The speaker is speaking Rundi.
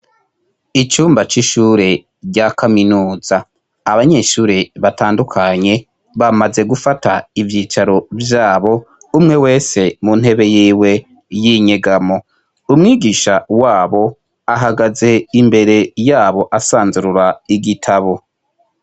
Icumba c'ishure rya kaminuza abanyeshure batandukanye bamaze gufata ivyicaro vyabo umwe wese mu ntebe yiwe y'inyegamo ,umwigisha wabo ahagaze imbere yabo asanzurura igitabo.